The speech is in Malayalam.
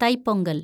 തൈപ്പൊങ്കല്‍